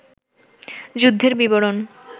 যুদ্ধের বিবরণ